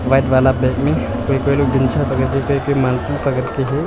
White वाला bag में कोई कोई लोग के हैं।